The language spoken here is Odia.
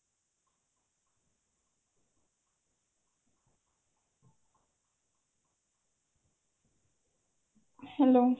hello